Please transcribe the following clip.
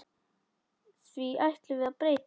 Því ætlum við að breyta.